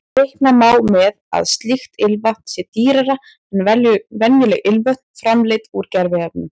Reikna má með að slíkt ilmvatn sé dýrara en venjuleg ilmvötn framleidd úr gerviefnum.